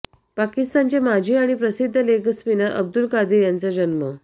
पाकिस्तानचे माजी आणि प्रसिद्ध लेगस्पिनर अब्दुल कादीर यांचा जन्म